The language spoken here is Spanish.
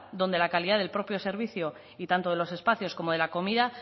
donde la calidad del propio servicio y tanto de los espacios como de la comida